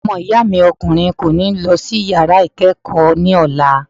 Ọmọ ìyá mi ọkùnrin kò ní lọ sí yàrá ìkẹ́kọ̀ọ́ ní ọ̀la.